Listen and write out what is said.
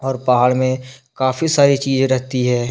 और पहाड़ मे काफी सारी चीजे रहती है।